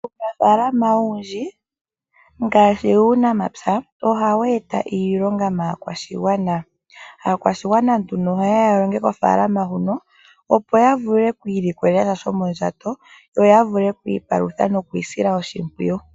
Uunafalama owundji ngaashi wuunamapya ohawu eta iilonga maakwashigwana. Aakwashigwana nduno oha yeya ya longe kofalama huno opo ya vule kwiilikolela sha shomondjato, yo ya vule kwiipalutha nokwiisila oshimpwiyu.